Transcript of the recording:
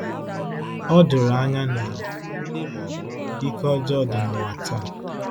Ọ doro anya na ike ọjọọ dị n’ụwa taa.